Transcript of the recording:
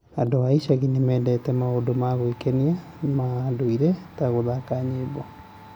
Andũ a icagi nĩ mendete maũndũ ma gwĩkenia ma ndũire ta gũthaka nyĩmbo.